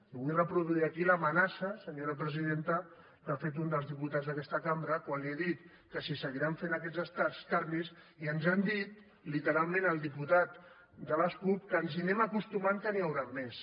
i vull reproduir aquí l’amenaça senyora presidenta que ha fet un dels diputats d’aquesta cambra quan li he dit que si seguiran fent aquests escarnis i ens han dit literalment el diputat de les cup que ens hi anem acostumant que n’hi hauran més